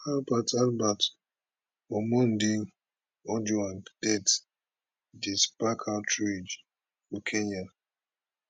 albert albert omondi ojwang death dey spark outrage for kenya